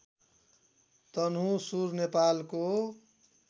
तनहुँसुर नेपालको